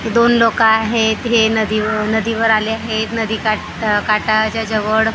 दोन लोकं आहेत हे नदीव नदीवर आले आहेत नदी काठ आह काठा च्या जवळ ते--